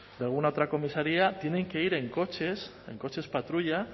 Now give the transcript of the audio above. de alguna otra comisaría tienen que ir en coches en coches patrulla